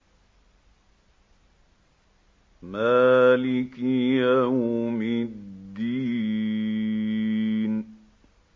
مَالِكِ يَوْمِ الدِّينِ